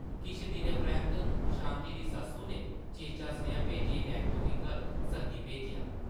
किश दिनें परैंत्त शांति दी सस्सु नै चेचा सनेहा भेजियै नैंत्तो गी घर सद्दी भेजेआ ।